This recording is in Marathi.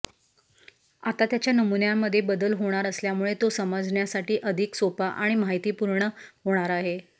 आता त्याच्या नमुन्यामध्ये बदल होणार असल्यामुळे तो समजण्यासाठी अधिक सोपा आणि माहितीपूर्ण होणार आहे